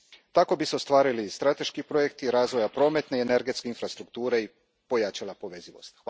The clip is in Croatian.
Tako bi se ostvarili strateški projekti razvoja prometne i energetske infrastrukture i pojačala povezivost.